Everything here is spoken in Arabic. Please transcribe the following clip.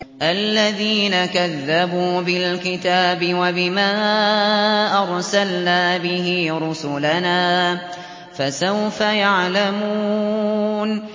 الَّذِينَ كَذَّبُوا بِالْكِتَابِ وَبِمَا أَرْسَلْنَا بِهِ رُسُلَنَا ۖ فَسَوْفَ يَعْلَمُونَ